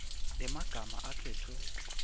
emagama akhetfwe